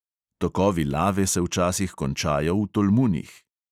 Tokovi lave se včasih končajo v tolmunih.